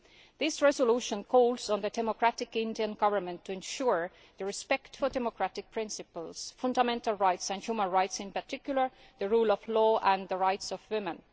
This resolution calls on the democratic Indian Government to ensure respect for democratic principles, fundamental rights and human rights in particular the rule of law and the rights of women.